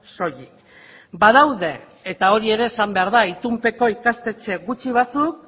soilik badaude eta hori ere esan behar da itunpeko ikastetxe gutxi batzuk